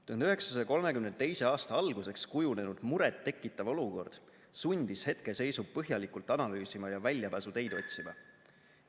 1932. aasta alguseks kujunenud muret tekitav olukord sundis hetkeseisu põhjalikult analüüsima ja väljapääsuteid otsima.